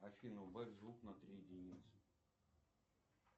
афина убавь звук на три единицы